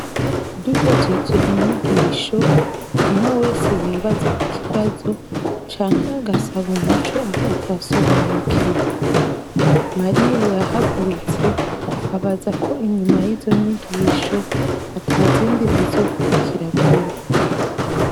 Duhejeje inyigisho, umwe wese ya baza ikibazo canke agasaba umuco ahatasobanukiwe. Mariya yahagurutse abaza ko inyuma yizo nyigisho atazindi zizokurikira vuba.